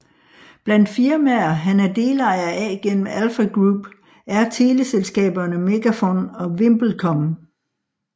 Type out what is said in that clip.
Blandt firmaer han er delejer af gennem Alfa Group er teleselskaberne Megafon og VimpelCom